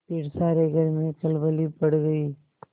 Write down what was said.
फिर सारे घर में खलबली पड़ गयी